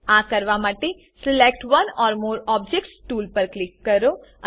આ કરવા માટે select one or more objects tool પર ક્લિક કરો